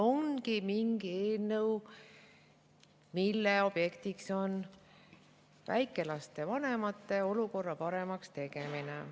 Ongi mingi eelnõu, mille objektiks on väikelaste vanemate olukorra paremaks tegemine.